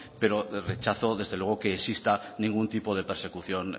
pero rechazo desde luego que exista ningún tipo de persecución